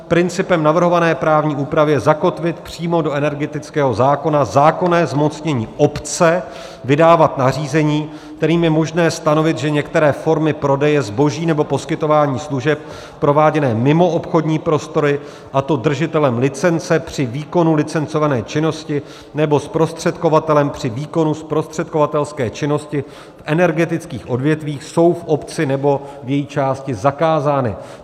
Principem navrhované právní úpravy je zakotvit přímo do energetického zákona zákonné zmocnění obce vydávat nařízení, kterým je možné stanovit, že některé formy prodeje zboží nebo poskytování služeb prováděné mimo obchodní prostory, a to držitelem licence při výkonu licencované činnosti nebo zprostředkovatelem při výkonu zprostředkovatelské činnosti v energetických odvětvích, jsou v obci nebo v její části zakázány.